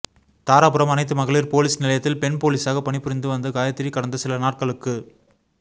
தாராபுரம் அனைத்து மகளிர் போலீஸ் நிலையத்தில் பெண் போலீசாக பணிபுரிந்து வந்த காயத்ரி கடந்த சில நாட்களுக்கு